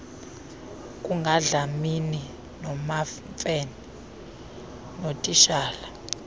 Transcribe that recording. kukadlamini nomamfene notitshala